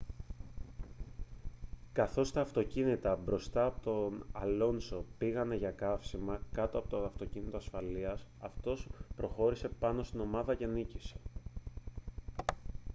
καθώς τα αυτοκίνητα μπροστά από τον αλόνσο πήγαν για καύσιμα κάτω από το αυτοκίνητο ασφαλείας αυτός προχώρησε πάνω από την ομάδα και νίκησε